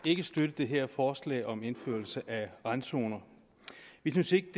ikke støtte det her forslag om indførelse af randzoner vi synes ikke